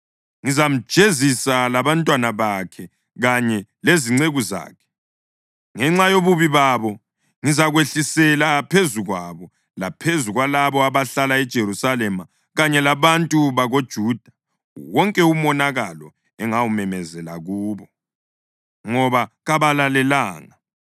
Ngizamjezisa labantwana bakhe kanye lezinceku zakhe ngenxa yobubi babo. Ngizakwehlisela phezu kwabo laphezu kwalabo abahlala eJerusalema kanye labantu bakoJuda, wonke umonakalo engawumemezela kubo, ngoba kabalalelanga.’ ”